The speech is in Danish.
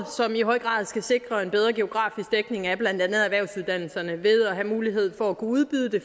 som i høj grad skal sikre en bedre geografisk dækning af blandt andet erhvervsuddannelserne ved at have mulighed for at kunne udbyde det